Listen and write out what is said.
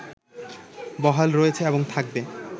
বহাল রয়েছে এবং থাকবে